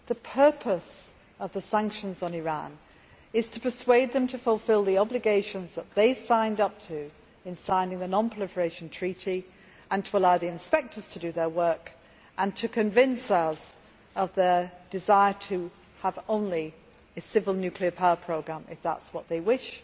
The purpose of the sanctions on Iran is to persuade them to fulfil the obligations that they signed up to in signing the Non Proliferation Treaty and to allow the inspectors to do their work and convince us of Iran's desire to have only a civil nuclear power programme, if that is what they wish,